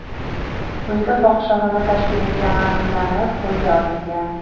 uyida fohishaxona tashkil etgani aniqlanib, qo‘lga olingan.